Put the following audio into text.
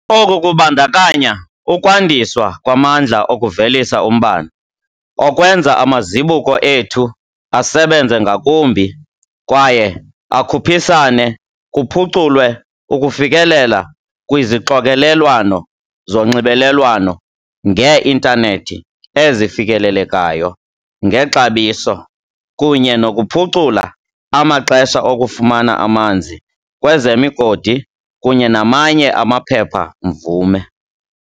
Oku kubandakanya ukwandiswa kwamandla okuvelisa umbane, okwenza amazibuko ethu asebenze ngakumbi kwaye akhuphisane, kuphuculwe ukufikelela kwizixokelelwano zonxibelelwano ngee-intanethi ezifikelelekayo ngexabiso, kunye nokuphucula amaxesha okufumana amanzi, kwezemigodi kunye namanye amaphepha-mvume.